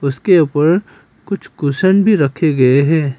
उसके ऊपर कुछ कुशन भी रखे गए है।